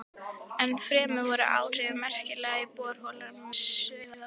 Ennfremur voru áhrifin merkjanleg í borholum við Sauðárkrók.